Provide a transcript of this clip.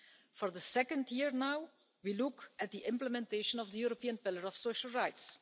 For the second year now, we look at the implementation of the European Pillar of Social Rights.